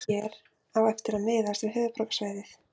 Svarið hér á eftir miðast við höfuðborgarsvæðið.